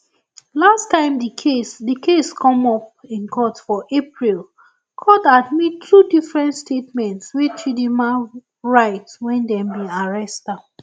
last time di case di case come up in court for april court admit two different statements wey chidinma write wen dem bin arrest am